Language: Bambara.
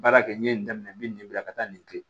Baara kɛ n ye nin daminɛ n bɛ nin bila ka taa nin kɛ